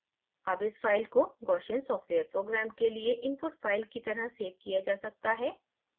अब इस file को gaussian सॉफ्टवेयर programme के लिए input file की तरह सेव किया जा सकता है